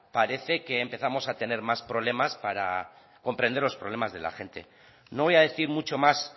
parece que empezamos a tener más problemas para comprender los problemas de la gente no voy a decir mucho más